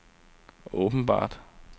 åbenbart